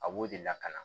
A b'o de lakana